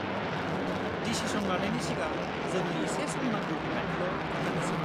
Decision लानायनि सिगां जोंनो एसे सम नांगौ होन्नानैल' खोन्थानोसै।